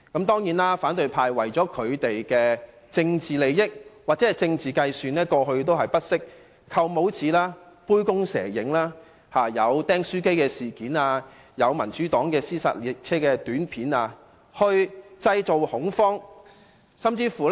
當然，反對派為了他們的政治利益或政治計算，過去不惜藉"扣帽子"、杯弓蛇影、"釘書機事件"、民主黨製作的"屍殺列車"短片等來製造恐慌。